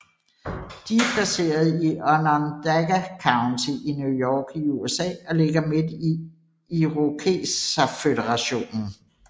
De er placeret i Onondaga County i New York i USA og ligger midt i Irokeserføderation